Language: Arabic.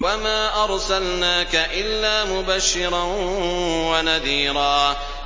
وَمَا أَرْسَلْنَاكَ إِلَّا مُبَشِّرًا وَنَذِيرًا